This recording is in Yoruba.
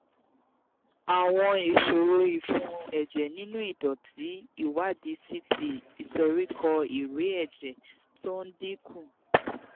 àwọn ìṣòro ìfun ẹ̀jẹ̀ nínú ìdọ̀tí ìwádìí ct ìsoríkọ́ ìrẹ̀ẹ́ ẹ̀jẹ̀ tó ń dín kù